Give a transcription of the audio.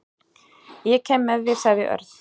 Ég kem með þér sagði Örn.